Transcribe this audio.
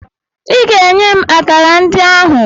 Ị ga-enye m akara ndị ahụ!